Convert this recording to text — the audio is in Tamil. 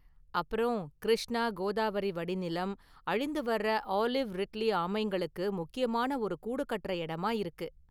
அப்பறம், கிருஷ்ணாகோதாவரி வடிநிலம், அழிந்துவர்ற ஆலிவ் ரிட்லி ஆமைங்களுக்கு முக்கியமான ஒரு கூடு கட்டுற எடமா இருக்கு.